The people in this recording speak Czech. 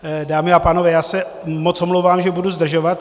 Dámy a pánové, já se moc omlouvám, že budu zdržovat.